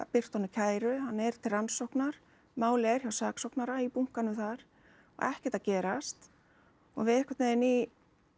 birta honum kæru hann er til rannsóknar málið er hjá saksóknara í bunkanum þar og ekkert að gerast og við einhvern veginn í